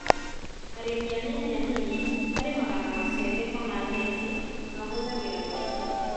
Arĩmi anini anini marĩmaga na macembe kana theci na mahũthagĩra moko